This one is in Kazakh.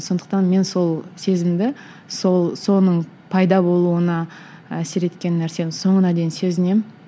сондықтан мен сол сезімді сол соның пайда болуына әсер еткен нәрсені соңына дейін сезінемін